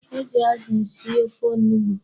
E ji azụ esi ofe onugbu.